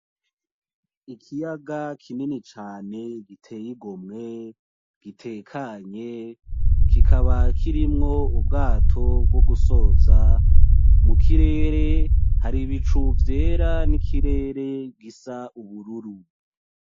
Ikiyaga kinini cane giteye igomwe, gitekanye kikaba kirimwo ubwato bwogusoza, mukirere hari ibicu vyera n'ikirere gisa ubururu.